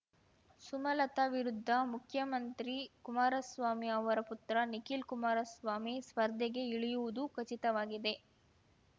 ಸುಮಲತ ವಿರುದ್ಧ ಮುಖ್ಯಮಂತ್ರಿ ಕುಮಾರಸ್ವಾಮಿ ಅವರ ಪುತ್ರ ನಿಖಿಲ್ ಕುಮಾರಸ್ವಾಮಿ ಸ್ಪರ್ಧೆಗೆ ಇಳಿಯುವುದು ಖಚಿತವಾಗಿದೆ